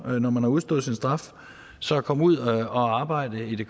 når man har udstået sin straf så at komme ud og arbejde i